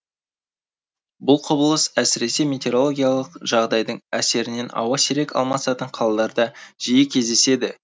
бұл құбылыс әсіресе метеорологиялық жағдайдың әсерінен ауа сирек алмасатын қалаларда жиі кздеседі